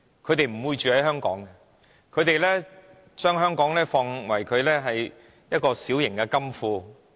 他們不會在香港居住，他們只將香港當作自己的小型金庫。